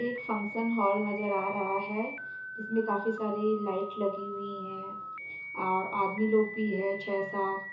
एक function hall नजर आ रहा है जिसमे काफी लाइट लगी हुई है और आदमी लोग भी है छे सात।